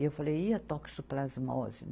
E eu falei, e a toxoplasmose?